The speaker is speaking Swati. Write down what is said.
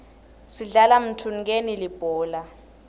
sidlala mthunukeni libhola